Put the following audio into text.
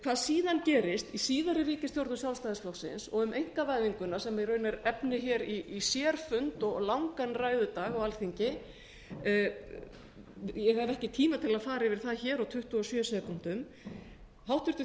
hvað síðan gerist í síðari ríkisstjórnum sjálfstæðisflokksins og um einkavæðinguna sem er reyndar efni í sérfund og langan ræðudag á alþingi ég hef ekki tíma til að fara yfir það á tuttugu og sjö sekúndum háttvirtur